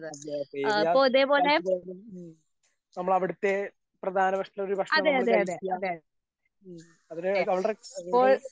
ഉം നമ്മളവിടുത്തെ പ്രധാന ഭക്ഷണൊരു ഭക്ഷണം നമ്മള് കഴിക്കാ ഉം അവരെ അതൊരു.